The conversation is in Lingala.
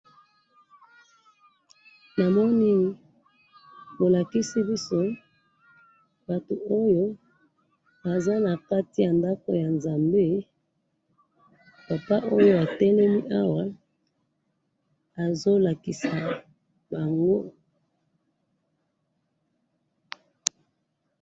Namoni bolakisi biso batu Oyo baza nakati yandaku ya Nzambe papa Oyo atelemi awa azolakisa bango